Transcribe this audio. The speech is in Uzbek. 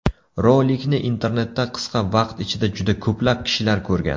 Rolikni internetda qisqa vaqt ichida juda ko‘plab kishilar ko‘rgan.